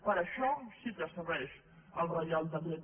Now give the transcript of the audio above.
per això sí que serveix el reial decret